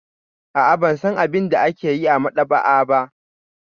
A'a, ban san abin da ake yi a maɗaba'a ba.